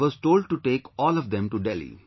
I was told to take all of them to Delhi